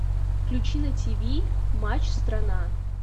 включи на тв матч страна